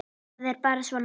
Það er bara svona.